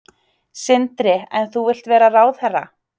Sindri: En þú vilt vera ráðherra?